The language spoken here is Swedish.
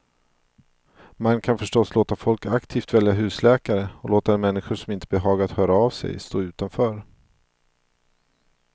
Man kan förstås låta folk aktivt välja husläkare, och låta de människor som inte behagat höra av sig stå utanför.